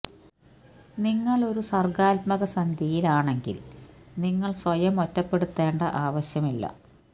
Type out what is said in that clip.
നിങ്ങൾ ഒരു സർഗ്ഗാത്മക സന്ധ്യയിൽ ആണെങ്കിൽ നിങ്ങൾ സ്വയം ഒറ്റപ്പെടുത്തേണ്ട ആവശ്യമില്ല